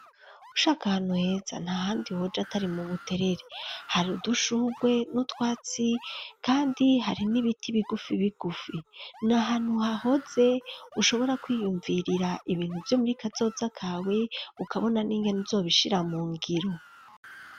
Ushaka ahantu heza, nta handi woja atari mu Buterere; hari udushurwe n'utwatsi kandi hari n'ibiti bigufi bigufi, ni ahantu hahoze ushobora kwiyumvirira ibintu vyo muri kazoza kawe, ukabona n'ingene uzobishira mu ngiro.